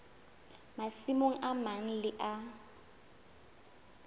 masimong a mang le a